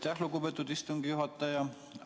Aitäh, lugupeetud istungi juhataja!